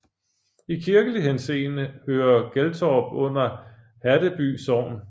I kirkelig henseende hører Geltorp under Haddeby Sogn